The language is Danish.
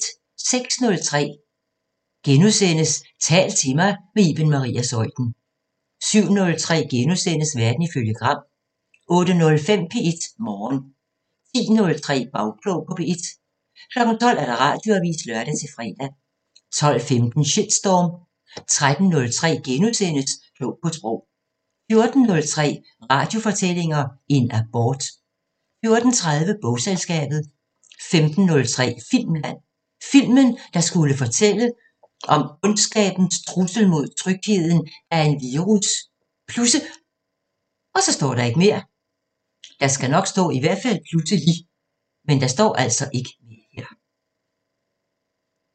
06:03: Tal til mig – med Iben Maria Zeuthen * 07:03: Verden ifølge Gram * 08:05: P1 Morgen 10:03: Bagklog på P1 12:00: Radioavisen (lør-fre) 12:15: Shitstorm 13:03: Klog på Sprog * 14:03: Radiofortællinger – En abort 14:30: Bogselskabet 15:03: Filmland: Filmen, der skulle til at fortælle om ondskabens trussel mod trygheden, da en virus pludse